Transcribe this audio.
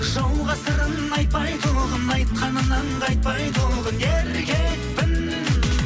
жауға сырын айтпай тұғын айтқанынан қайтпай тұғын еркекпін